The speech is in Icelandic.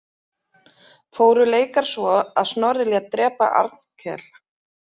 Fóru leikar svo að Snorri lét drepa Arnkel.